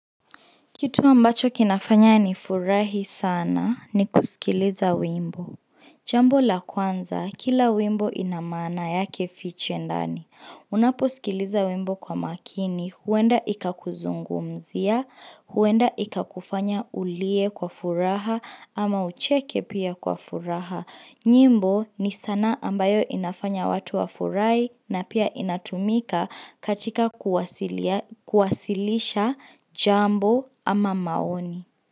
Kitu ambacho kinafanya nifurahi sana ni kusikiliza wimbo. Jambo la kwanza, kila wimbo ina maana yake fiche ndani. Unaposikiliza wimbo kwa makini, huenda ikakuzungumzia, huenda ikakufanya ulie kwa furaha ama ucheke pia kwa furaha. Nyimbo ni sanaa ambayo inafanya watu wafurahi na pia inatumika katika kuwasilisha jambo ama maoni.